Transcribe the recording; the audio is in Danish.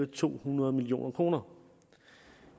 to hundrede million kroner